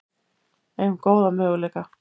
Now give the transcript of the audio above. Eigum góða möguleika